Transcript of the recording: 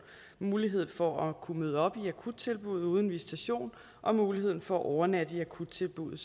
mulighed for at kunne møde op i akuttilbuddet uden visitation og mulighed for at overnatte i akuttilbuddet